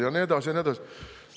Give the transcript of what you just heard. " Ja nii edasi ja nii edasi.